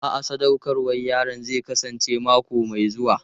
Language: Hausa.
A'a, sadaukarwar yaron zai kasance mako mai zuwa.